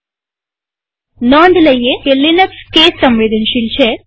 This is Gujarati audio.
નોંધ રાખો કે લિનક્સ અક્ષર પ્રકારસાદા કે કેપિટલને સંવેદનશીલ છે